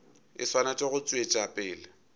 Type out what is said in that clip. e swanetše go tšwetša pele